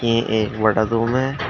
ये एक बटा दो में--